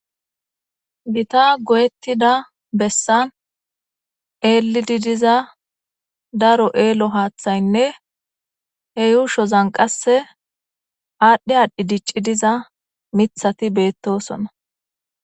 Giiththa go'ettida bessa dhelidi diza daro eelo haththaynne he uushshozan qase adhdhi aadhdhi dicci diza miththatti bettosonna.